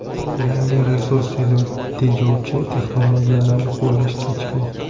Yangi, resurs tejovchi texnologiyalarni qo‘llash kechikmoqda.